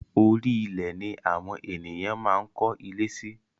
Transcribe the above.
Orí ilẹ̀ ni awón ènìyàn máa ń kó ilé si